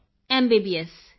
Kritika MBBS